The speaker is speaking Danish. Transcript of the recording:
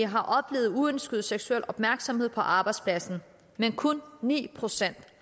har oplevet uønsket seksuel opmærksomhed på arbejdspladsen men kun ni procent